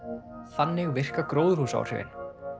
þannig virka gróðurhúsaáhrifin